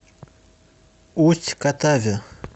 усть катаве